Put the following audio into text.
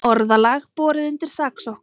Orðalag borið undir saksóknara